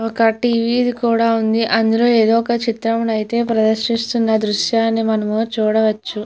ఒక టీ.వీ. కూడా ఉంది అందులో ఏదొక చిత్రము అయితే ప్రదర్శిస్తున్న దృశ్యం మనం చూడవచ్చు.